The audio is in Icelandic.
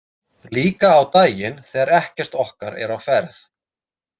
Líka á daginn þegar ekkert okkar er á ferð.